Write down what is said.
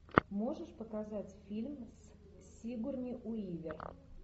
можешь показать фильм с сигурни уивер